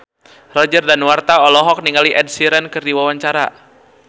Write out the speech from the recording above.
Roger Danuarta olohok ningali Ed Sheeran keur diwawancara